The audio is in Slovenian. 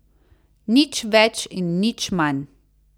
Nič več in nič manj.